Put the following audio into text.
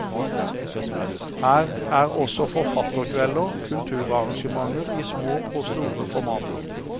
Her er også forfatterkvelder, kulturarrangementer i små og store formater.